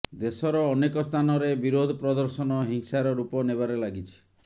ଦେଶର ଅନେକ ସ୍ଥାନରେ ବିରୋଧ ପ୍ରଦର୍ଶନ ହିଂସାର ରୂପ ନେବାରେ ଲାଗିଛି